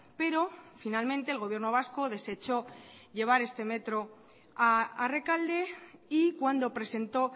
pero finalmente el gobierno vasco desechó llevar este metro a rekalde y cuando presentó